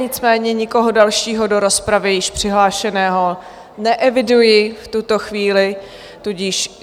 Nicméně nikoho dalšího do rozpravy již přihlášeného neeviduji v tuto chvíli, tudíž...